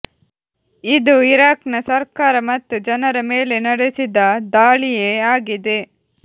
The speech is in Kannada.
ಇದು ಇರಾಕ್ನ ಸರ್ಕಾರ ಮತ್ತು ಜನರ ಮೇಲೆ ನಡೆಸಿದ ದಾಳಿಯೇ ಆಗಿದೆ